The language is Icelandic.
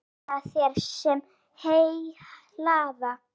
Mæna þeir, sem heyi hlaða.